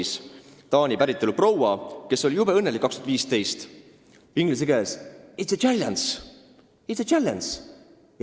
See on Taani päritolu proua, kes aastal 2015 jube õnnelikult kuulutas: "It's a challenge!